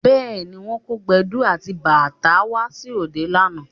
Bẹ́ẹ̀ni, wọ́n kó Gbẹ̀du àti bàtá wá sí òde lánàá